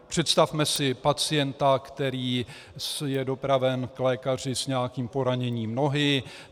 Představme si pacienta, který je dopraven k lékaři s nějakým poraněním nohy.